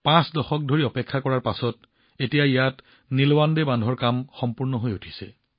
পাঁচ দশক অপেক্ষাৰ অন্তত এতিয়া ইয়াত নীলৱাণ্ডে বান্ধৰ খালৰ কাম সম্পূৰ্ণ হৈ উঠিছে